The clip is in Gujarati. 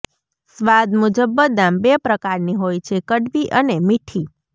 સ્વાદ મુજબ બદામ બે પ્રકારની હોય છેઃ કડવી અને મીઠી